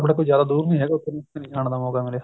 ਕੋਈ ਜਿਆਦਾ ਦੁਰ ਨੀ ਹੈਗਾ ਉੱਥੇ ਨੀ ਜਾਣ ਦਾ ਮੋਕਾ ਮਿਲਿਆ